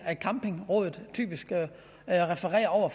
at campingrådet typisk refererer